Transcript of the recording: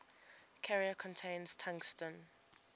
carrier contains tungsten